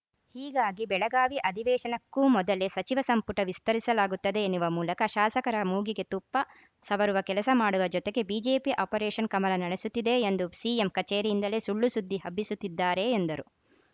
ಹೀಗಾಗಿ ಬೆಳಗಾವಿ ಅಧಿವೇಶನಕ್ಕೂ ಮೊದಲೇ ಸಚಿವ ಸಂಪುಟ ವಿಸ್ತರಿಸಲಾಗುತ್ತದೆ ಎನ್ನುವ ಮೂಲಕ ಶಾಸಕರ ಮೂಗಿಗೆ ತುಪ್ಪ ಸವರುವ ಕೆಲಸ ಮಾಡುವ ಜೊತೆಗೆ ಬಿಜೆಪಿ ಆಪರೇಷನ್‌ ಕಮಲ ನಡೆಸುತ್ತಿದೆ ಎಂದು ಸಿಎಂ ಕಚೇರಿಯಿಂದಲೇ ಸುಳ್ಳು ಸುದ್ದಿ ಹಬ್ಬಿಸುತ್ತಿದ್ದಾರೆ ಎಂದರು